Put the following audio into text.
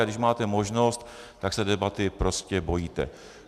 A když máte možnost, tak se debaty prostě bojíte.